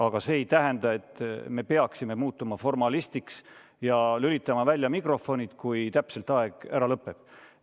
Aga see ei tähenda, et me peaksime muutuma formalistiks ja lülitama välja mikrofonid, kui aeg lõpeb.